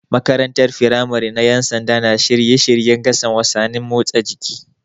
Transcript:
Makarantar firamare na Ƴan sanda na shirye shiryen gasar wasannin motsa jiki.